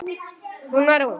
Hún var ung.